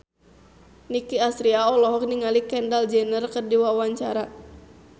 Nicky Astria olohok ningali Kendall Jenner keur diwawancara